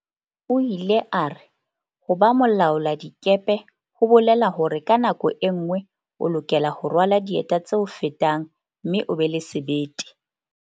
O ile a re, "ho ba mo laoladikepe ho bolela hore ka nako e nngwe o lokela ho rwala dieta tse o fetang mme o be le sebete."